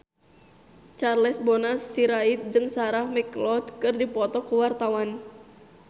Charles Bonar Sirait jeung Sarah McLeod keur dipoto ku wartawan